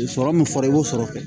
Sɔrɔ min fɔra i b'o sɔrɔ kɛ